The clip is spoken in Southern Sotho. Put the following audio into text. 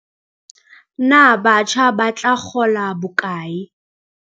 Na batjha ba tla kgola bokae?